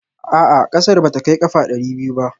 A'a ƙasar ba ta kai ƙafa ɗari biyu ba